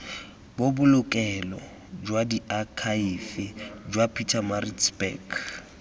bobolokelo jwa diakhaefe jwa pietermaritzburg